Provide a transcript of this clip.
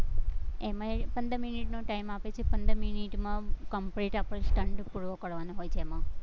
એમાંય પંદર મિનિટનો time આપે છે, પંદર મિનિટમાં complete આપણે stunt પૂરો કરવાનો હોય છે એમાં